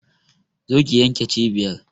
Za ki yanmnke cibiyar!